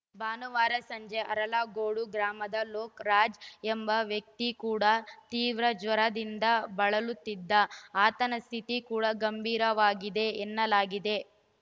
ಭಾನುವಾರ ಸಂಜೆ ಅರಳಗೋಡು ಗ್ರಾಮದ ಲೋಕರಾಜ್‌ ಎಂಬ ವ್ಯಕ್ತಿ ಕೂಡ ತೀವ್ರ ಜ್ವರದಿಂದ ಬಳಲುತ್ತಿದ್ದ ಆತನ ಸ್ಥಿತಿ ಕೂಡ ಗಂಭೀರವಾಗಿದೆ ಎನ್ನಲಾಗಿದೆ